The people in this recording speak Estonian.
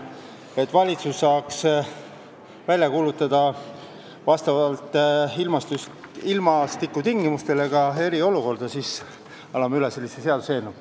Et valitsus saaks ilmastikutingimustele vastavalt kuulutada välja eriolukorda, anname üle sellise seaduseelnõu.